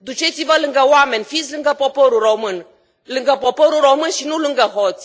Duceți vă lângă oameni, fiți lângă poporul român, lângă poporul român și nu lângă hoți!